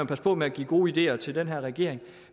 passe på med at give gode ideer til den her regering